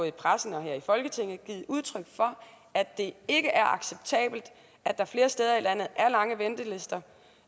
i pressen og her i folketinget givet udtryk for at det ikke er acceptabelt at der flere steder i landet